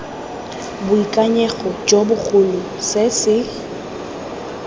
boikanyego jo bogolo se se